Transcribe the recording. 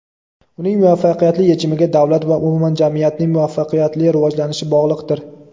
uning muvaffaqiyatli yechimiga davlat va umuman jamiyatning muvaffaqiyatli rivojlanishi bog‘liqdir.